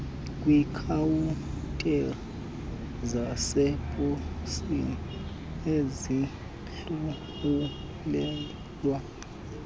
kwiikhawuntari zaseposini azihlawulelwa